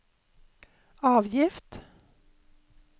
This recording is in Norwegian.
avgift